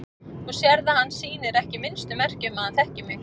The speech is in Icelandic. Þú sérð að hann sýnir ekki minnstu merki um að hann þekki mig.